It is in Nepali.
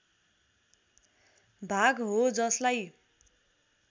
भाग हो जसलाई